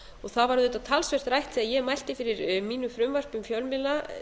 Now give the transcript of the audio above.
og það var auðvitað talsvert rætt þegar ég mælti fyrir mínu frumvarpi um fjölmiðla